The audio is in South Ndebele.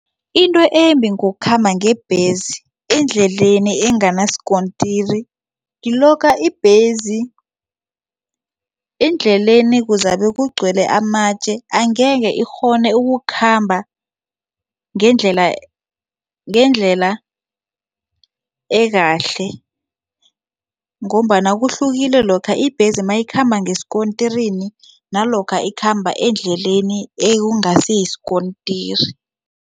Into embi ngokukhamba ngebhesi endleleni enganasikontiri kilokha ibhesi endleleni kuzabe kugcwele amatje angeke ikghone ukukhamba ngendlela ekahle ngombana kuhlukile lokha ibhesi mayikhamba ngesikontirini nalokha ikhamba endleleni ekungasi yisikontiri.